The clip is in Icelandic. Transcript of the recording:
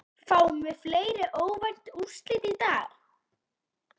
Fáum við fleiri óvænt úrslit í dag?